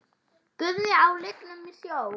Guðni á lygnum sjó?